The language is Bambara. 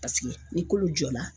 Paseke ni kolo jɔra.